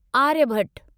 Aryabhata